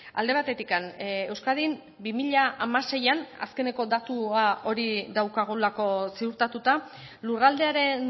alde batetik euskadin bi mila hamaseian azkeneko datua hori daukagulako ziurtatuta lurraldearen